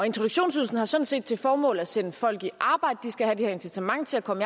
introduktionsydelsen har sådan set til formål at sætte folk i arbejde de skal have det her incitament til at komme